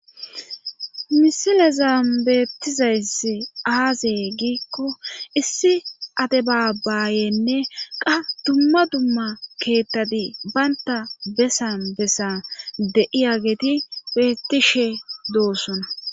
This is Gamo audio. misilezan beettizayssi aazee giikko issi ade baabayenne qa dumma dumma keettadi baynta bessan bessan de7iya geeti bettishe doossona